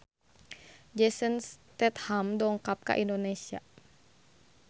Jason Statham dongkap ka Indonesia